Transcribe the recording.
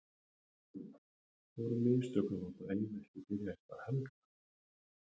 Voru mistök að láta Eið ekki byrja í stað Helga?